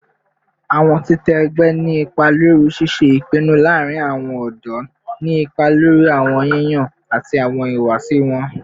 Awọn titẹ ẹgbẹ ni ipa lori ṣiṣe ipinnu laarin awọn ọdọ, ni ipa lori awọn yiyan ati awọn ihuwasi wọn